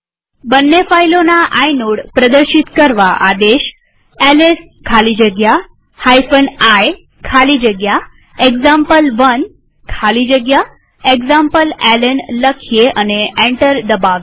બંને ફાઈલોના આઇનોડ પ્રદર્શિત કરવા આદેશ એલએસ ખાલી જગ્યા i ખાલી જગ્યા એક્ઝામ્પલ1 ખાલી જગ્યા એક્ઝામ્પલેલ્ન લખીએ અને એન્ટર દબાવીએ